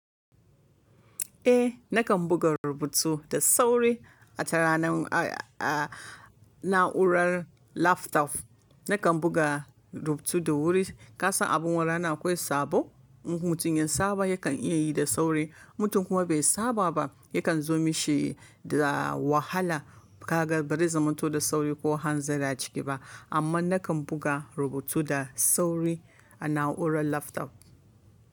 Eh, nakan buga rubutu da sauri a ta ranar, a, a, na'urar laptop. Nakan buga rubutu da wuri. Ka san abin wani rana akwai sabo, in mutum ya saba yakan iya yi da sauri, in mutum kuma bai saba ba yakan zo mashi da wahala. Kaga ba zai zamanto da sauri ko hanzari a ciki ba. Amma nakan buga rubutu da sauri a na'urar laptop.